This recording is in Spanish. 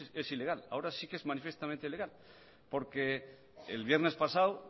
es ilegal ahora sí que es manifiestamente ilegal porque el viernes pasado